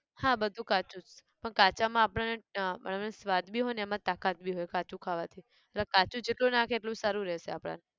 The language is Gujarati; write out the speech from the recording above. હા બધું કાચું જ, પણ કાચા માં આપણને ટ આપણે સ્વાદ બી હોય અને એમાં તાકાત બી હોય કાચું ખાવાથી એટલે કાચું જેટલું નાખે એટલું સારું રેહશે આપણાન